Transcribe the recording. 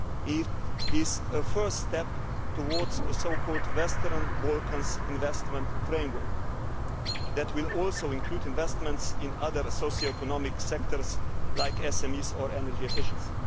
It is a first step towards a Western Balkans Investment Framework that will also include investments in other socioeconomic sectors, like SMEs or energy efficiency.